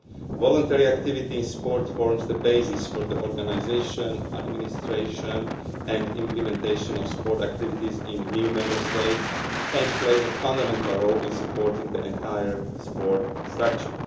Voluntary activity in sport forms the basis for the organisation, administration and implementation of sport activities in new Member States and plays a fundamental role in supporting the entire sport structure.